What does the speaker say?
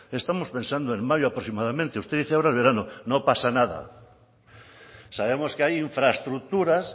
estamos pensando en mayo aproximadamente usted dice ahora en verano no pasa nada sabemos que hay infraestructuras